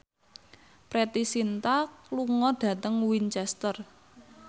Preity Zinta lunga dhateng Winchester